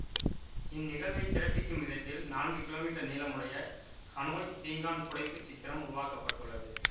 இந்நிகழ்வைச் சிறப்பிக்கும் விதத்தில் நான்கு கிலோ மீட்டர் நீளமுடைய ஹனோய் பீங்கான் புடைப்புச் சித்திரம் உருவாக்க பட்டுள்ளது